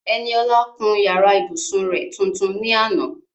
Eniola kun yàrá ìbùsùn rẹ̀ tuntun ní àná.